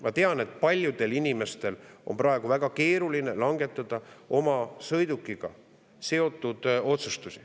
Ma tean, et paljudel inimestel on praegu väga keeruline langetada oma sõidukiga seotud otsustusi.